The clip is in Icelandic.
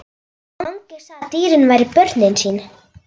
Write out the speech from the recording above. Mangi sagði að dýrin væru börnin sín.